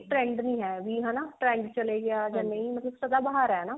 trend ਨੀ ਹੈ ਵੀ ਹਨਾ trend ਚਲੇ ਗਿਆ ਜਾਂ ਸਦਾ ਬਹਾਰ